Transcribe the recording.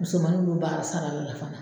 Musomannin lu b'a sarali la fana